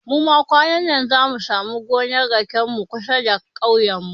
Muma kwanannan zamu samu gonar raken mu kusa da kauyen mu